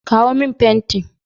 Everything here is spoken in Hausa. Kawo min fenti!